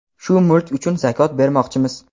Shu mulk uchun zakot bermoqchimiz.